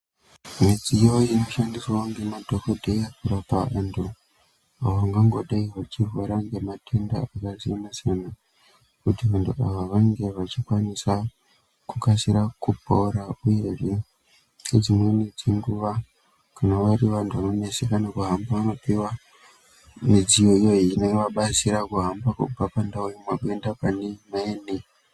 Midziyo inoshamdiswawo ngemadhokodheya kurapa antu ava vangangodai vechirwara ngematenda akasiyana-siyana kuti vantu vangangodai vechikasira kupora uyezve dzimweni dzenguwa kana vari vantu vanoneseka kuhamba vanopuwa midziyo iyo inovabatsira kuhamba kubva pandau imwe kuenda paneimweni.